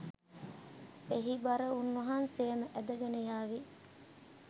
එහි බර උන් වහන්සේම ඇදගෙන යාවි